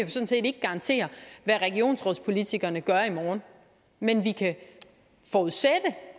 garantere hvad regionsrådspolitikerne gør i morgen men vi kan forudsætte